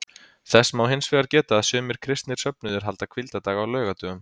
Þess má hins vegar geta að sumir kristnir söfnuðir halda hvíldardag á laugardögum.